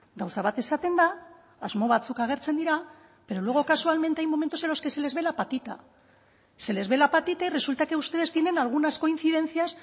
gauza bat esaten da asmo batzuk agertzen dira pero luego casualmente hay momentos en los que se les ve la patita se les ve la patita y resulta que ustedes tienen algunas coincidencias